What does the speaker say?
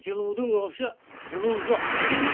жылудың вообще жылу жоқ